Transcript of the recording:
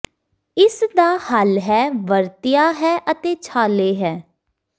ਇਸ ਦਾ ਹੱਲ ਹੈ ਵਰਤਿਆ ਹੈ ਅਤੇ ਛਾਲੇ ਹੈ